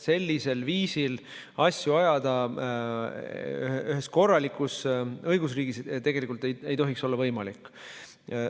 Sellisel viisil asju ajada ei tohiks ühes korralikus õigusriigis olla võimalik.